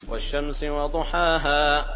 وَالشَّمْسِ وَضُحَاهَا